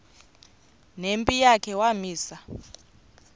nempi yakhe wamisa